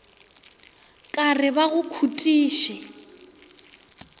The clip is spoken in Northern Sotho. ka re ba go khutiše